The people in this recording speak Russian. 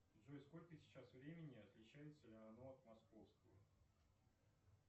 джой сколько сейчас времени и отличается ли оно от московского